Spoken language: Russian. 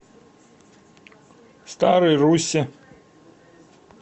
старой руссе